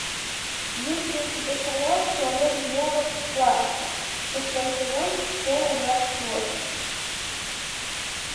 есть ли у тебя сериал человек дьявол плакса шестой сезон серия двадцать восемь